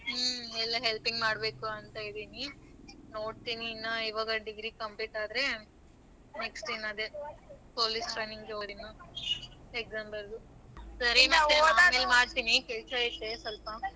ಹ್ಮ ಎಲ್ಲ helping ಮಾಡ್ಬೇಕು ಅಂತ ಇದಿನಿ, ನೋಡ್ತೀನಿ ಇವಾಗ ಇನ್ನ degree complete ಆದ್ರೆ next ಇನ್ನದೆ police training ಹೋಗ್ತೀನಿ exam ಬರದಬಿಟ್ಟು ಸ್ವಲ್ಪ ಆಮೇಲೆ ಮಾಡ್ತೀನಿ ಕೆಲಸ ಐತೆ ಸ್ವಲ್ಪ.